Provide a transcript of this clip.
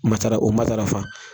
Matara o ma taararafa